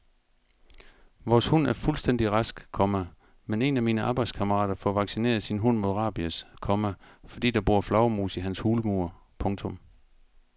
Vores hund er fuldstændig rask, komma men en af mine arbejdskammerater får vaccineret sin hund mod rabies, komma fordi der bor flagermus i hans hulmur. punktum